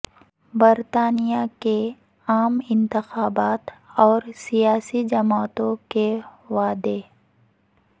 برطانیہ کے عام انتخابات اور سیاسی جماعتوں کے وعدے